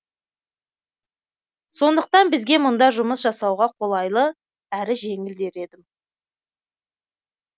сондықтан бізге мұнда жұмыс жасауға қолайлы әрі жеңіл дер едім